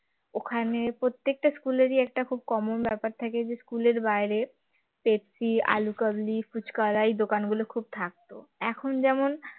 ওখানে প্রত্যেকটা school এ রি একটা খুব common ব্যাপার থাকে যে school এর বাইরে পেপসি আলু কাবলি ফুচকা আলার দোকান গুলো খুব থাকতো এখন যেমন